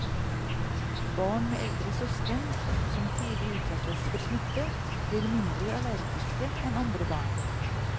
Barn med eldre søsken, som tidlig utsettes for smitte, blir mindre allergiske enn andre barn.